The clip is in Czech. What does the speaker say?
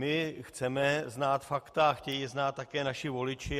My chceme znát fakta, chtějí je znát také naši voliči.